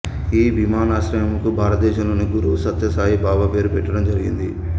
ఈ విమానాశ్రయమునకు భారతదేశం లోని గురువు సత్య సాయి బాబా పేరు పెట్టడం జరిగింది